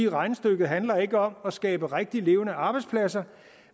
regnestykket handler ikke om at skabe rigtige levende arbejdspladser